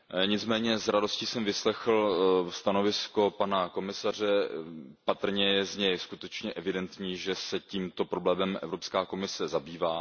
Nicméně s radostí jsem vyslechl stanovisko pana komisaře, je z něj skutečně evidentní, že se tímto problémem Evropská komise zabývá.